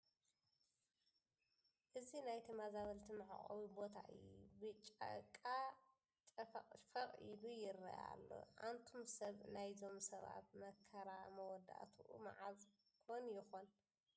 እዚ ናይ ተመዛበልቲ መዕቆቢ ቦታ እዩ፡ ብጫቃ ጨፈቕፈቕ ኢሉ ይርአ ኣሎ፡፡ ኣንቱም ሰብ ናይዞም ሰባት መከራ መወዳእትኡ መዓዝ ኮን ይኸውን?